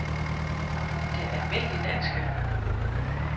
Det Alm. Danske